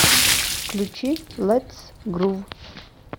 включи летс грув